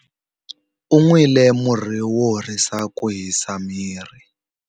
U nwile murhi wo horisa ku hisa miri.